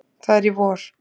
Það er í vor.